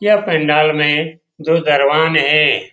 यह पंडाल मे दो दरवान है।